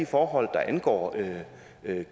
forhold der angår